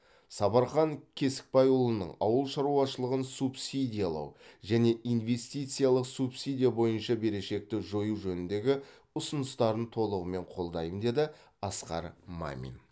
сапархан кесікбайұлының ауыл шаруашылығын субсидиялау және инвестициялық субсидия бойынша берешекті жою жөніндегі ұсыныстарын толығымен қолдаймын деді асқар мамин